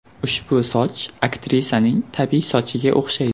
Ushbu soch aktrisaning tabiiy sochiga o‘xshaydi.